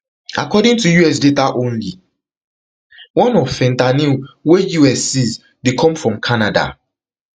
according to us data only one of fentanyl wey us seize dey come from canada